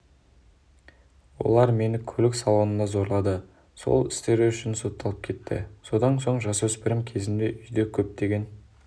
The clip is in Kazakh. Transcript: олар мені көлік салонында зорлады сол істері үшін сотталып кетті содан соң жасөспірім кезімде үйде көптеген